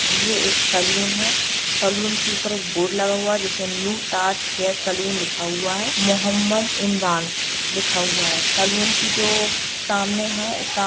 ये एक सलोन है सलोन कि ऊपर एक बोर्ड लगा हुआ है जिसमें न्यू ताज हेयर सलोन लिखा हुआ है मोहम्मद इमरान लिखा हुआ है। सलोन कि जो सामने है सा --